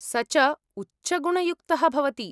स च उच्चगुणयुक्तः भवति।